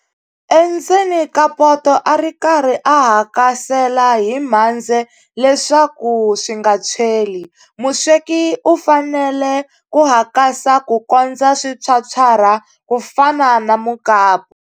Endzeni ka poto a ri karhi u hakasela hi mhandze leswaku swi nga tshweli. Musweki u fanele ku hakasa ku kondza swi phyaphyarha ku fana na mukapu.